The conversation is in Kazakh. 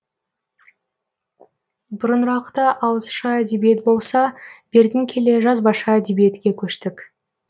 бұрынырақта ауызша әдебиет болса бертін келе жазбаша әдебиетке көштік